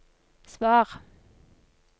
svar